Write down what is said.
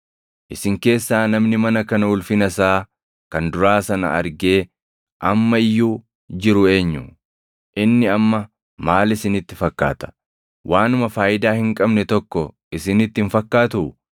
‘Isin keessaa namni mana kana ulfina isaa kan duraa sana argee amma iyyuu jiru eenyu? Inni amma maal isinitti fakkaata? Waanuma faayidaa hin qabne tokko isinitti hin fakkaatuu?